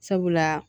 Sabula